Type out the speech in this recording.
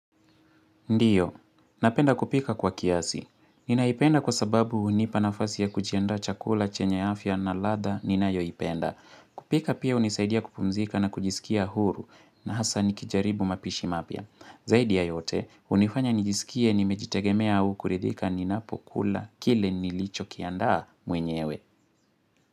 Ndiyo, napenda kupika kwa kiasi. Ninaipenda kwa sababu hunipa nafasi ya kujenda chakula, chenye afya na ladha ninayoipenda. Kupika pia hunisaidia kupumzika na kujisikia huru na hasa nikijaribu mapishi mapya. Zaidi ya yote, hunifanya nijisikie nimejitegemea au kuridhika ninapokula kile nilicho kianda mwenyewe.